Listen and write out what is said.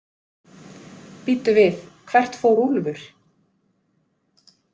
Bíddu við, hvert fór Úlfur?